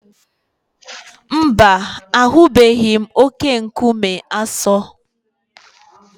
Mba, ahụbeghị m oke-nkume Aso.